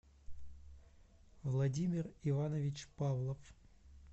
владимир иванович павлов